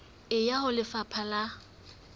e ya ho lefapha la